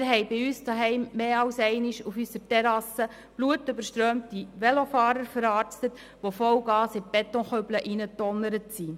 Wir haben bei uns zu Hause mehr als einmal auf unserer Terrasse blutüberströmte Velofahrer verarztet, die mit Vollgas in die Betonkübel hineingedonnert waren.